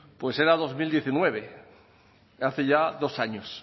pues era dos mil diecinueve hace ya dos años